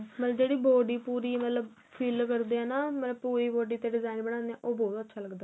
ਮਤਲਬ ਜਿਹੜੀ body ਮਤਲਬ fill ਕਰਦੇ ਹਾਂ ਮਤਲਬ ਪੂਰੀ body design ਬਣਾਦੇ ਹਾਂ ਉਹ ਅੱਛਾ ਲੱਗਦਾ